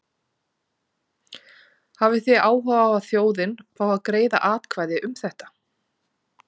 Hafið þið áhuga á að þjóðin fái að greiða atkvæði um þetta?